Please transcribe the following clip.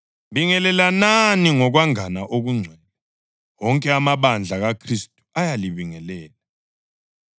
Bingelelanani ngokwangana okungcwele. Wonke amabandla kaKhristu ayalibingelela.